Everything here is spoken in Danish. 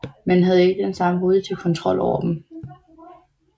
Man havde ikke den samme positive kontrol over dem